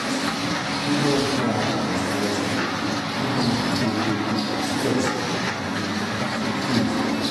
kí ló ń fa ìlọsíwájú nínú ipele sgot àti sgpt?